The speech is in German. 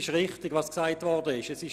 Was gesagt wurde, ist richtig: